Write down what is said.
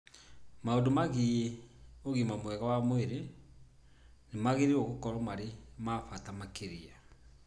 Maũndũ megiĩ ũgima mwega wa mwĩrĩ nĩ magĩrĩirũo gũkorũo marĩ ma bata makĩria.